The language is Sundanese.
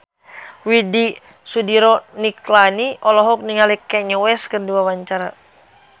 Widy Soediro Nichlany olohok ningali Kanye West keur diwawancara